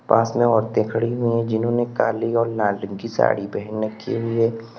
पास में औरतें खड़ी हुई हैं जिन्होंने काली और लाल रंग की साड़ी पहन रखी हुई हैं।